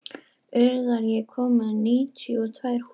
Urðar, ég kom með níutíu og tvær húfur!